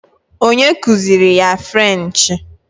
Onye kuziiri ya frenchị